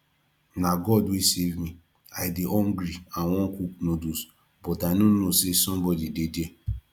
na god wey save me i dey hungry and wan cook noodles but i no know say somebody dey there